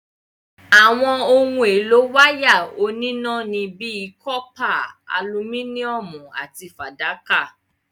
Àwọn ohun èlò wáyà oníná ni bíi cọ́pà, alumíníọ̀mù àti fàdákà.